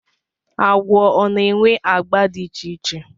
Agwọ ọ na-enwe agba dị iche iche.